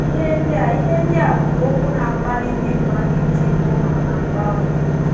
Ihe ndị a Ihe ndị a bụkwa okwu na - akpali ndị mmadụ iti mkpu maka mgbanwe.